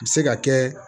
A bɛ se ka kɛ